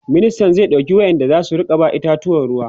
ministan zai ɗauki wayanda zasu Rika ba itatuwan ruwa